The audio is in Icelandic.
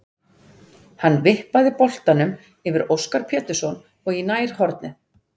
Hann vippaði boltanum yfir Óskar Pétursson og í nærhornið.